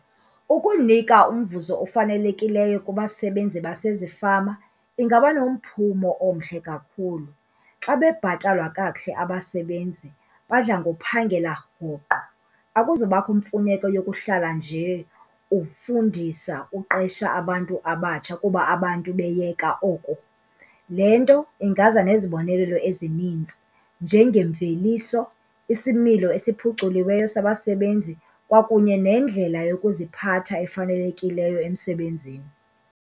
Ukunika umvuzo ofanelekileyo kubasebenzi basezifama ingaba nomphumo omhle kakhulu. Xa bebhatalwa kakuhle abasebenzi badla ngophangela rhoqo, akuzubakho mfuneko yokuhlala nje ufundisa uqesha abantu abatsha kuba abantu beyeka oko. Le nto ingaza nezibonelelo ezininzi njengemveliso, isimilo esiphuculiweyo sabasebenzi kwakunye nendlela yokuziphatha efanelekileyo emsebenzini.